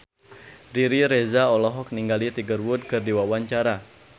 Riri Reza olohok ningali Tiger Wood keur diwawancara